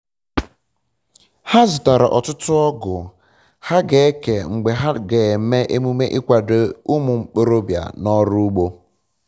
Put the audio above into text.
um ha zụtara ọtụtụ ọgụ um ha ga-eke mgbe ha ga eme emume ịkwado ụmụ ntorobia na ọrụ ugbo